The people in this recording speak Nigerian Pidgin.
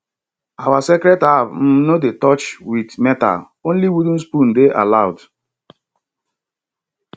our sacred herb um no dey touch with metalonly wooden spoon dey allowed